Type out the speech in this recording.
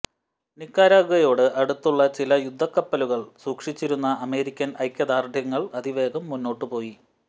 നിക്കരാഗ്വയോട് അടുത്തുള്ള ചില യുദ്ധക്കപ്പലുകൾ സൂക്ഷിച്ചിരുന്ന അമേരിക്കൻ ഐക്യദാർഢ്യങ്ങൾ അതിവേഗം മുന്നോട്ടുപോയി